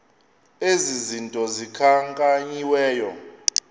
ezi zinto zikhankanyiweyo